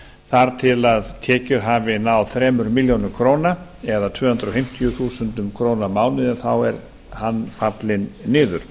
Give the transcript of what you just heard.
þar til tekjur hafi náð þremur milljónum króna eða tvö hundruð fimmtíu þúsund krónur á mánuði fer hann fallinn niður